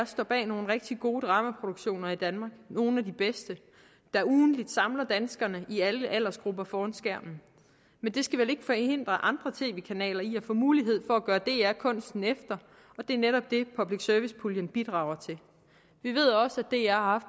står bag nogle rigtig gode dramaproduktioner i danmark nogle af de bedste der ugentligt samler danskere i alle aldersgrupper foran skærmen men det skal vel ikke forhindre andre tv kanaler i at få mulighed for at gøre dr kunsten efter og det er netop det public service puljen bidrager til at dr